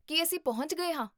ਕੀ ਅਸੀਂ ਪਹੁੰਚ ਗਏ ਹਾਂ?